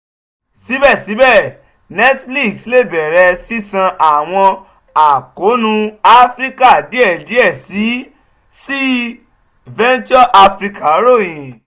sibẹsibẹ netflix le bẹrẹ ṣiṣan awọn akoonu afirika diẹ diẹ sii venturesafrica royin.